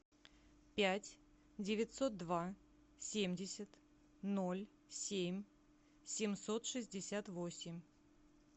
пять девятьсот два семьдесят ноль семь семьсот шестьдесят восемь